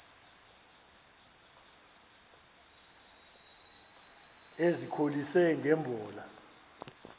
ezikholise nge mbola